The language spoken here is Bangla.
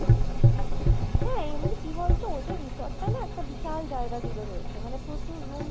হ্যাঁ এমনি কি বলতো ওদের resort টা না একটা বিশাল জায়গা জুড়ে রয়েছে মানে প্রচুর room